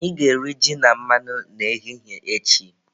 Anyị ga-eri ji na mmanụ n'ehihie echi